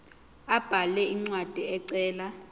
abhale incwadi ecela